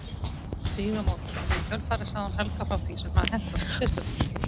Stígamóta því í kjölfarið sagði hún Helga frá því sem hafði hent okkur systurnar.